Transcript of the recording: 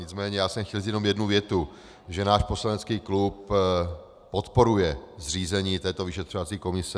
Nicméně já jsem chtěl říct jen jednu větu, že náš poslanecký klub podporuje zřízení této vyšetřovací komise.